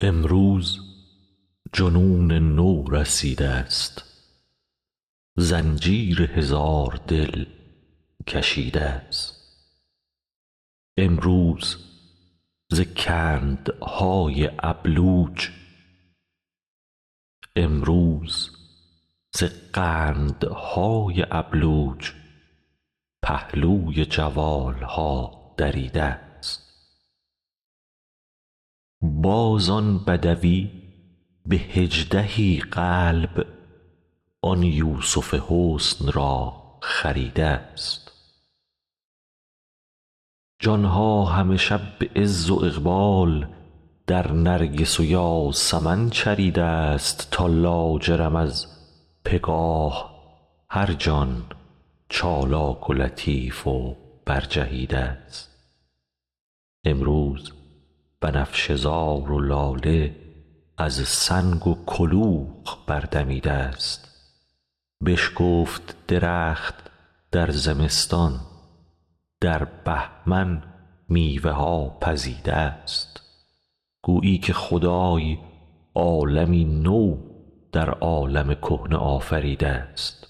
امروز جنون نو رسیده ست زنجیر هزار دل کشیده ست امروز ز کندهای ابلوج پهلوی جوال ها دریده ست باز آن بدوی به هجده ای قلب آن یوسف حسن را خریده ست جان ها همه شب به عز و اقبال در نرگس و یاسمن چریده ست تا لاجرم از بگاه هر جان چالاک و لطیف و برجهیده ست امروز بنفشه زار و لاله از سنگ و کلوخ بردمیده ست بشکفت درخت در زمستان در بهمن میوه ها پزیده ست گویی که خدای عالمی نو در عالم کهنه آفریده ست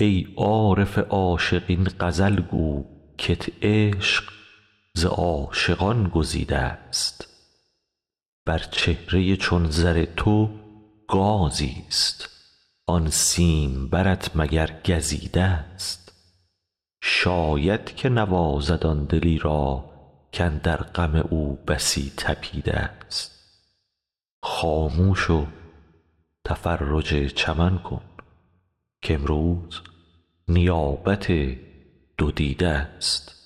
ای عارف عاشق این غزل گو کت عشق ز عاشقان گزیده ست بر چهره چون زر تو گازیست آن سیمبرت مگر گزیده ست شاید که نوازد آن دلی را کاندر غم او بسی طپیده ست خاموش و تفرج چمن کن کامروز نیابت دو دیده ست